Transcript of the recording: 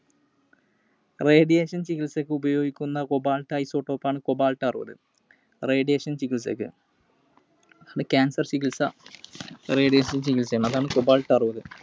Radiation ചികിത്സക്കു ഉപയോഗിക്കുന്ന Cobalt isotope ആണ് Cobalt അറുപത്. Radiation ചികിത്സക്ക്. അത് cancer ചികിത്സ, Radiation ചികിത്സ ആണ്. അതാണ് Cobalt അറുപത്.